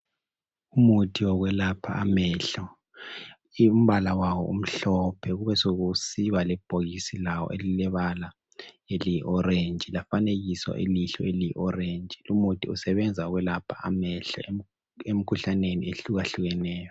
Umuthi wokwelapha amehlo. Umbala wawo umhlophe. Kube sekusiba lebhokisi lawo elilebala eliyiorange. Lafanekiswa ilihlo eliyi orange. Lumuthi usebenza ukwelapha amehlo, emkhuhlaneni, ehlukahlukeneyo.